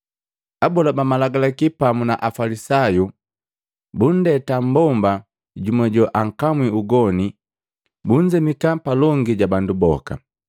Abola ba Malagalaki pamu na Afalisayu bundeta mbomba jumu joankamwi ugoni bunzemika palongi ja bandu boka.